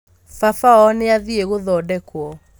Baba wao nĩathiĩ gũthondekwo